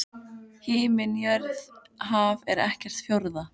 Himinn jörð haf er ekkert fjórða?